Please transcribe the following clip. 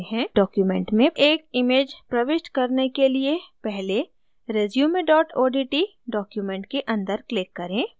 document में एक image प्रविष्ट करने के लिए पहले resume odt document के अंदर click करें